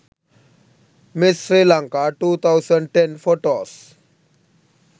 miss sri lanka 2010 photos